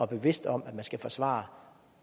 bevidst om at man skal forsvare